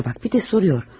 Şuna bax, bir də soruşur.